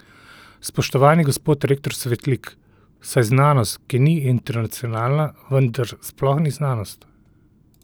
Spoštovani gospod rektor Svetlik, saj znanost, ki ni internacionalna, vendar sploh ni znanost!